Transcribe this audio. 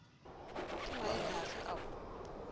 ke maele afe ao o